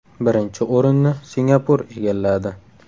Birinchi o‘rinni Singapur egalladi.